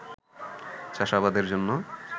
চাষাবাদের জন্য